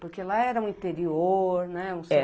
Porque lá era um interior, né? É